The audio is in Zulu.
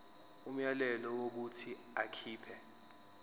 umyalelo wokuthi akhipha